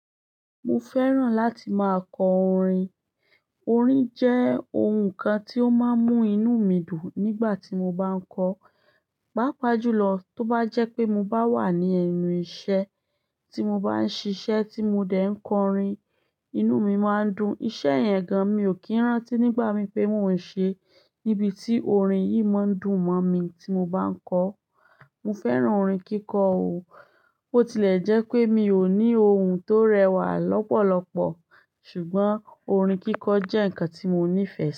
Mo fẹ́ràn láti máa kọ orin. Orin jẹ́ ohun kan tí ó máa ń mú inú mi dùn nígbà tí mo bá ń kọ. Pápa jùlọ tó bá jẹ́ pé mo bá wà ní ẹnu ìṣẹ́ tí mo bá ń ṣiṣẹ́ tí mo dẹ̀ ń kọ orin, inú mi máa ń dùn. Iṣẹ́ yẹn gan mi ò kí ń rántí nígbà mì pé mò ń ṣe níbi tí orin yìí máa ń dùn mọ̀ mi tí mo bá ń kọ. Mo fẹ́ràn orin kíkọ o. Ó tilẹ̀ jẹ́ pé mi ò ní ohun tó rẹwà lọ́pọ̀lọpọ̀. Ṣùgbọ́n orin kíkọ jẹ́ ǹkan tí mo nífẹ̀ẹ́.